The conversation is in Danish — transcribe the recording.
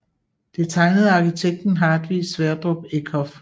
Det er tegnet af arkitekten Hartvig Sverdrup Eckhoff